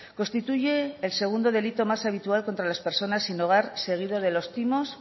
constituye el segundo delito más habitual contra las personas sin hogar seguido de los timos